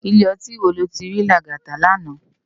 Ilé òtín wó ló ti ri Lagata làná?